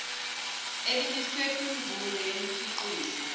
elimiswe kwimvume yomkhiqizo